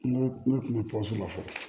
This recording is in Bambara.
Ne kun bɛ pɔmuso la fɔlɔ